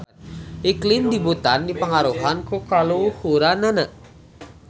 Iklim di Butan dipangaruhan ku kaluhuranana.